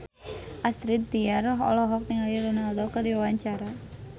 Astrid Tiar olohok ningali Ronaldo keur diwawancara